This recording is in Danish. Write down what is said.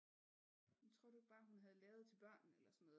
Tror du ikke bare hun havde lavet til børnene eller sådan noget